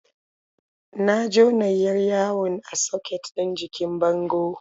Na jona 'yar yawon a soket ɗin jikin bango.